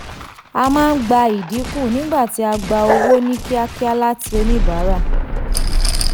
a máa ń gba ìdínkù nígbà tí a gba owó ní kíákíá láti oníbàárà.